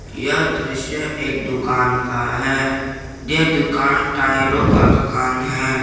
यह दृश्य एक दुकान का है यह दुकान टायरों का दुकान है।